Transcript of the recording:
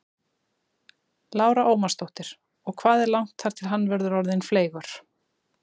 Lára Ómarsdóttir: Og hvað er langt þar til hann verður orðinn fleygur?